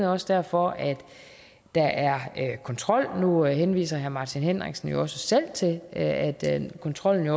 også derfor at der er kontrol nu henviser herre martin henriksen jo også selv til at kontrollen